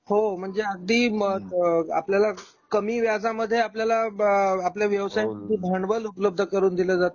हो म्हणजे अगदी आपल्याला कमी व्याजा मध्ये आपल्याला आपल्या व्यवसायच भांडवल उपलब्ध करून दिला जातो त्याच ऋण दिला जात.